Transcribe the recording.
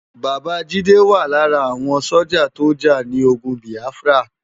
Baba Jide wá lárà áwòn sójá tó já ni ógùn Biáfrá